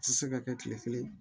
Ti se ka kɛ kile kelen